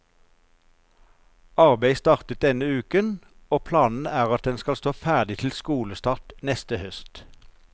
Arbeidet startet denne uken, og planen er at den skal stå ferdig til skolestart neste høst.